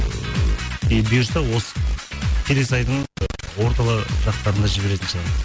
ыыы бұйырса осы келесі айдың орталы жақтарында жіберетін шығармыз